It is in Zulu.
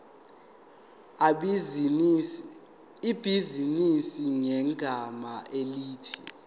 ibhizinisi ngegama elithi